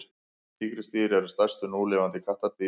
tígrisdýr eru stærstu núlifandi kattardýrin